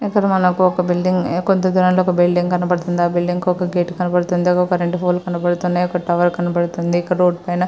ఎక్కడ మనకి ఒక బిల్డింగు కొంత దూరంలోనే ఒక బిల్డింగు కనబడుతుంది. ఆ బిల్డింగ్ కి ఒక గేటు కనబడుతుంది. ఒక కరెంటు పోల్ కనబడుతూ ఉంది. అక్కడ ఒక టవర్ కనబడుతుంది.